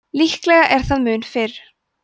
líklega er það mun fyrr